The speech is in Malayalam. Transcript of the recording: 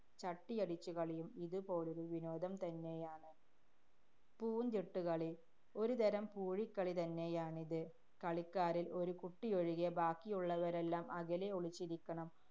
ചട്ടിയടിച്ചുകളിയും ഇതു പോലൊരു വിനോദം തന്നെയാണ്. പൂന്തിട്ടു കളി. ഒരുതരം പൂഴിക്കളി തന്നെയാണിത്. കളിക്കാരില്‍ ഒരു കുട്ടിയൊഴികെ ബാക്കിയുള്ളവരെല്ലാം അകലെ ഒളിച്ചിരിക്കണം.